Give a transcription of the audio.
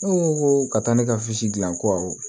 Ne ko ko ka taa ne ka misi dilan ko awɔ